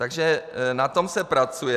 Takže na tom se pracuje.